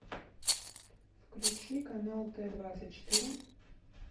включи канал т двадцать четыре